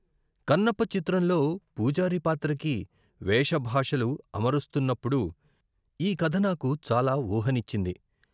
కన్నప్ప చిత్రంలో పూజారి పాత్రకి వేష భాషలు అమరుస్తున్నప్పుడు ఈ కథ నాకు చాలా ఊహనిచ్చింది.